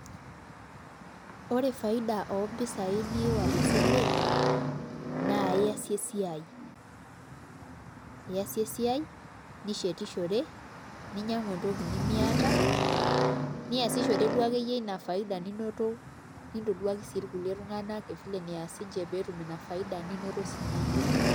Ore faida ompisaai niawa tesile naa iasie esiai nishetishore ninyiang'u entoki nemiata niasishore duo akeyie esiai ninoto nintoduaki kulie tung'anak vile nees siinche pee etum ina faida ninoto siinye iyie.